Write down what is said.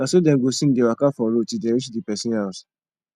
na so dem go sing dey waka for road til dem rich di pesin house